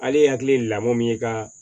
Ale hakili ye lamɔn min ye ka